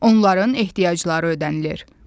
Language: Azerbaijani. Onların ehtiyacları ödənilir.